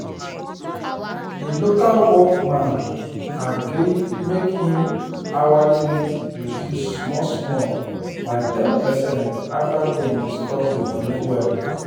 the local work man um gree make him hourly rate reduce small small by ten percent after dem discuss the money well.